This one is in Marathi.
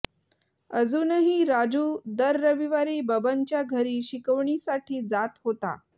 अजूनही राजू दर रविवारी बबनच्या घरी शिकवणीसाठी जात होता